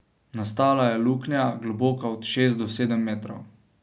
Nastala je luknja, globoka od šest do sedem metrov.